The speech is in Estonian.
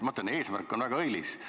Ma ütlen, et eesmärk on väga õilis.